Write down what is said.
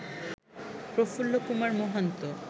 Prafulla Kumar Mohanta